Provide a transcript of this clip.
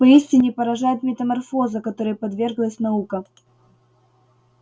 поистине поражает метаморфоза которой подверглась наука